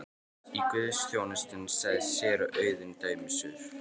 Í guðsþjónustunni sagði séra Auðunn dæmisögur.